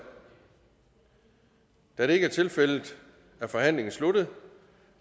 da det ikke er tilfældet er forhandlingen sluttet